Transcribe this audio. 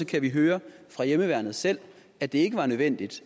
kan vi høre fra hjemmeværnet selv at det ikke var nødvendigt